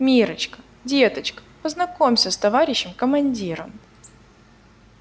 миррочка деточка познакомься с товарищем командиром